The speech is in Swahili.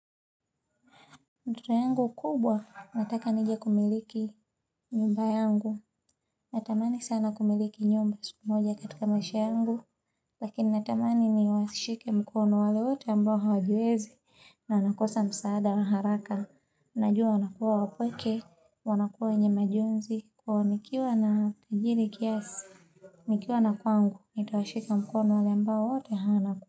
Ndoto yangu kubwa, nataka nije kumiliki nyumba yangu. Natamani sana kumiliki nyumba siku moja katika maisha yangu. Lakini, natamani niwashike mkono wale wote ambao hawajiwezi. Na nakosa msaada wa haraka. Najua wanakuwa wapweke. Wanakuwa wenye majonzi. Kwao nikiwa najiri kiasi. Nikiwa na kwangu. Nitawashika mkono wale ambao wote hawana ku.